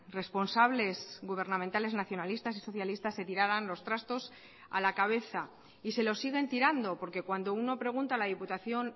responsables gubernamentales nacionalistas y socialistas se tiraran los trastos a la cabeza y se los siguen tirando porque cuando uno pregunta a la diputación